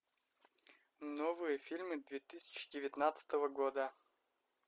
новые фильмы две тысячи девятнадцатого года